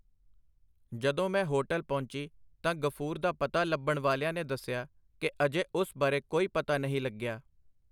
ਜਦੋਂ ਮੈਂ ਹੋਟਲ ਪਹੁੰਚੀ ਤਾਂ ਗ਼ਫੂਰ ਦਾ ਪਤਾ ਲੱਭਣ ਵਾਲਿਆਂ ਨੇ ਦੱਸਿਆ ਕਿ ਅਜੇ ਉਸ ਬਾਰੇ ਕੋਈ ਪਤਾ ਨਹੀਂ ਲੱਗਿਆ.